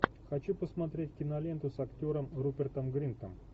хочу посмотреть киноленту с актером рупертом гринтом